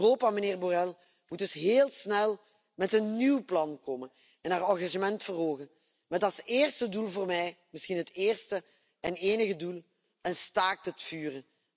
Europa moet dus heel snel met een nieuw plan komen en zijn engagement verhogen, met als eerste doel voor mij misschien het eerste en enige doel een staakt het vuren.